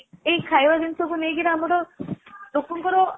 ଏଇ ଖାଇବା ଜିନିଷକୁ ନେଇକି ଆମର ଲୋକଙ୍କର